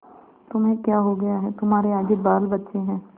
तुम्हें क्या हो गया है तुम्हारे आगे बालबच्चे हैं